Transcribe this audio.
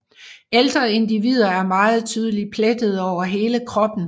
Ældre individer er meget tydeligt plettede over hele kroppen